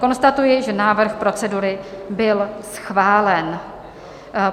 Konstatuji, že návrh procedury byl schválen.